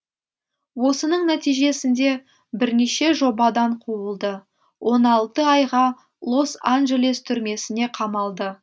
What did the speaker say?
осының нәтижесінде бірнеше жобадан қуылды он алты айға лос анджелес түрмесіне қамалды